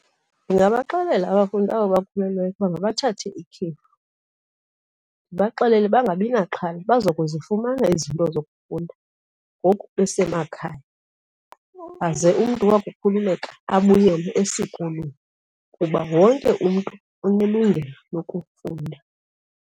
Ndingabaxelela abafundi aba bakhulelweyo ukuba mabathathe ikhefu ndibaxelele bangabi naxhala baza kuzifumana izinto zokufunda ngoku besemakhaya. Aze umntu wakukhululeka abuyele esikolweni kuba wonke umntu unelungelo lokufunda.